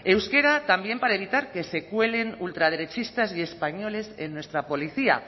euskera también para evitar que se cuelen ultraderechistas y españoles en nuestra policía